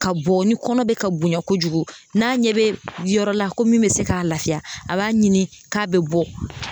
Ka bɔ ni kɔnɔ be ka bonya kojugu n'a ɲɛ be yɔrɔ la ko min be se k'a lafiya a b'a ɲini k'a be bɔ